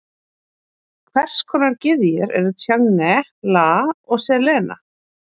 Hvers konar gyðjur eru Tjange, Lah og Selena?